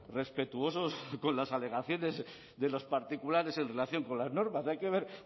respetuosos con las alegaciones de los particulares en relación con las normas hay que ver